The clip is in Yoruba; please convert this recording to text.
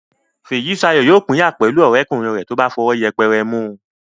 Fèyísayọ̀ yóò pínyà pẹ̀lú ọ̀rẹ́kùnrin rẹ̀ tó bá fọwọ́ yẹpẹrẹ mú un